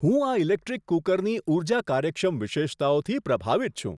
હું આ ઇલેક્ટ્રિક કૂકરની ઊર્જા કાર્યક્ષમ વિશેષતાઓથી પ્રભાવિત છું!